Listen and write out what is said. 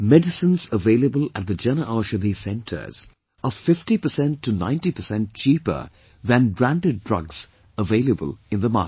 Medicines available at the Jan Aushadhi Centres are 50% to 90% cheaper than branded drugs available in the market